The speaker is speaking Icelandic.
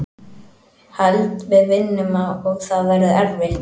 Held við vinnum og það verður erfitt.